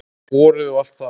Vorið og allt það.